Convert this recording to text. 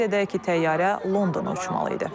Qeyd edək ki, təyyarə Londona uçmalı idi.